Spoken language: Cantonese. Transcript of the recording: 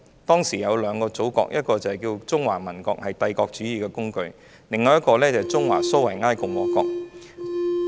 當時我們有兩個祖國，一個是中華民國，是帝國主義的工具，另一個是中華蘇維埃共和國。